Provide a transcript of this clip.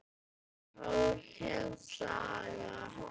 Hótel Saga.